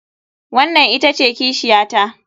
Wannan ita ce kishiyata.